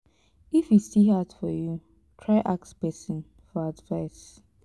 if e still hard for yu try ask pesin for advice